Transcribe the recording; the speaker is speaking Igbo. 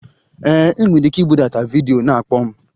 Ee, ị nwere ike ibudata vidiyo na-akpọ m.